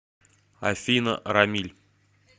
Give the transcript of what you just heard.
афина рамиль